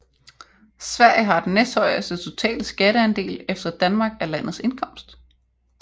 Sverige har den næsthøjeste totale skatteandel efter Danmark af landets indkomst